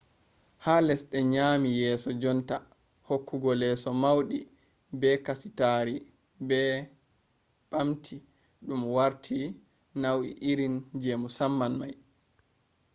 ha lesɗe nyaami yeeso jonta hokkugo leeso mauɗi be kasitaari ɓe ɓamti ɗum warti nau'i irin je musamman mai